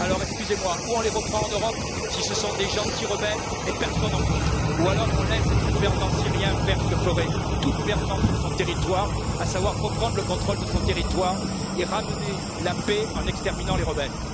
Excusez moi, soit on les reprend en Europe, si ce sont de gentils rebelles, et personne n'en veut, soit on laisse le gouvernement syrien faire ce que ferait tout gouvernement sur son territoire, à savoir reprendre le contrôle de son territoire et ramener la paix en exterminant les rebelles.